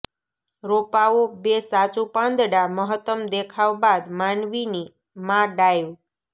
રોપાઓ બે સાચું પાંદડા મહત્તમ દેખાવ બાદ માનવીની માં ડાઇવ